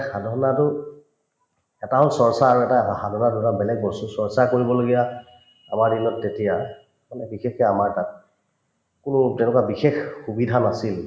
সাধনাতো এটা হল চৰ্চা আৰু এটা সাধনা দুটা বেলেগ বস্তু চৰ্চা কৰিবলগীয়া আমাৰ দিনত তেতিয়া মানে বিশেষকে আমাৰ তাত কোনো তেনেকুৱা বিশেষ সুবিধা নাছিল